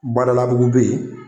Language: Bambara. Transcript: Badalabugu bɛ ye.